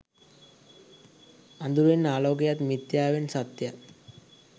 අඳුරෙන් ආලෝකයත් මිත්‍යාවෙන් සත්‍යයත්